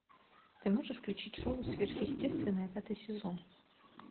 ты можешь включить шоу сверхъестественное пятый сезон